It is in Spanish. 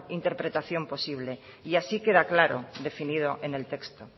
interpretación posible y así queda claro definido en el texto